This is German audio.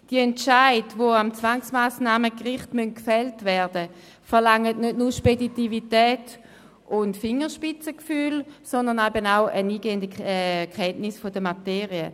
Die Entscheide, die am Zwangsmassnahmengericht gefällt werden müssen, verlangen nicht nur «Speditivität» und Fingerspitzengefühl, sondern auch eine eingehende Kenntnis der Materie.